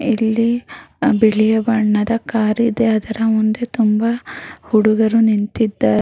ಇಲ್ಲಿ ಬಿಳಿ ಬಣ್ಣದ ಕಾರ್ ಇದೆ ಅದರ ಮುಂದೆ ತುಂಬಾ ಹುಡುಗರು ನಿಂತಿದ್ದಾರೆ.